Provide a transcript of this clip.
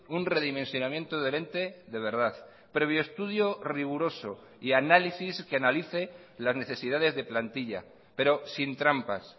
un redimensionamiento del ente de verdad previo estudio riguroso y análisis que analice las necesidades de plantilla pero sin trampas